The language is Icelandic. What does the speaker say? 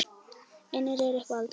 Eignir mínar eru hvergi faldar.